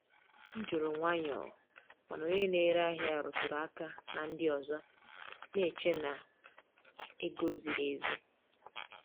M jụrụ nwayọọ, mana onye na-ere ahịa rụtụrụ aka na ndị ọzọ na-eche na ego ziri ezi.